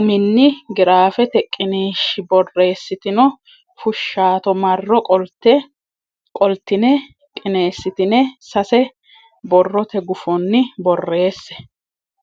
uminni giraafete qiniishshi borreessitini fushshaato marro qoltine qineessitine sase borrote gufonni borreesse.